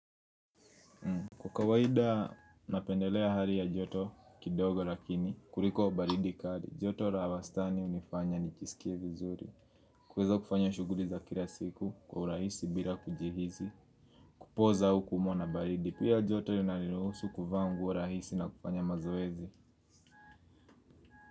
Kwa kawaida napendelea hali ya joto kidogo lakini kuliko baridi kari. Joto ra wastani unifanya nichisikie vizuri. Kuweza kufanya shuguri za kila siku kwa urahisi bila kujihisi kupoza au kuumwa na baridi pia joto inaniruhusu kuvaa nguo rahisi na kufanya mazoezi.